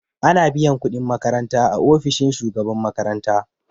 Ana biyan kuɗin makaranta a ofishin shugaban makaranta